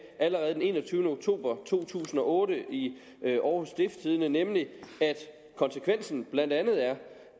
allerede den enogtyvende oktober to tusind og otte i århus stiftstidende nemlig at konsekvensen blandt andet er